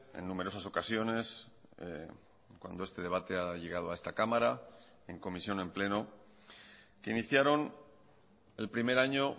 en numerosas ocasiones cuando este debate ha llegado a esta cámara en comisión en pleno que iniciaron el primer año